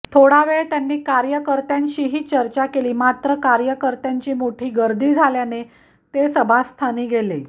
थोडा वेळ त्यांनी कार्यकर्त्यांशीही चर्चा केली मात्र कार्यकर्त्यांची मोठी गर्दी झाल्याने ते सभास्थानी गेले